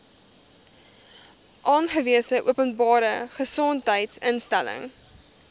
aangewese openbare gesondheidsinstelling